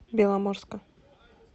беломорска